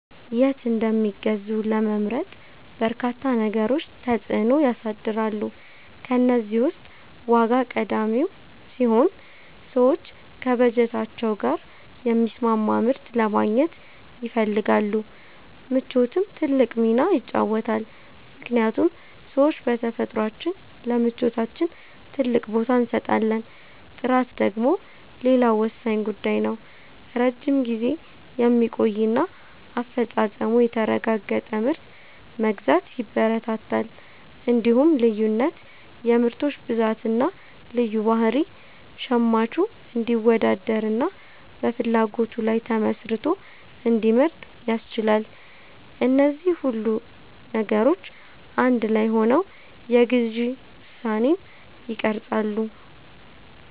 የት እንደሚገዙ ለመምረጥ በርካታ ነገሮች ተጽዕኖ ያሳድራሉ። ከእነዚህ ውስጥ ዋጋ ቀዳሚው ሲሆን፣ ሰዎች ከበጀታቸው ጋር የሚስማማ ምርት ለማግኘት ይፈልጋሉ። ምቾትም ትልቅ ሚና ይጫወታልምክንያቱም ሰዎች በተፈጥሯችን ለምቾታችን ትልቅ ቦታ እንሰጣለን። ጥራት ደግሞ ሌላው ወሳኝ ጉዳይ ነው፤ ረጅም ጊዜ የሚቆይና አፈጻጸሙ የተረጋገጠ ምርት መግዛት ያበረታታል። እንዲሁም ልዩነት (የምርቶች ብዛትና ልዩ ባህሪ) ሸማቹ እንዲወዳደርና በፍላጎቱ ላይ ተመስርቶ እንዲመርጥ ያስችላል። እነዚህ ሁሉ ነገሮች አንድ ላይ ሆነው የግዢ ውሳኔን ይቀርጻሉ።